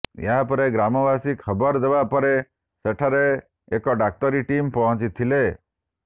ଏହାପରେ ଗ୍ରାମବାସୀ ଖବର ଦେବା ପରେ ସେଠାରେ ଏକ ଡାକ୍ତରୀ ଟିମ ପହଂଚିଥିଲେ